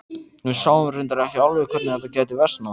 Við sáum reyndar ekki alveg hvernig þetta gæti versnað.